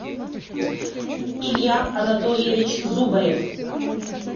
илья анатольевич зубарев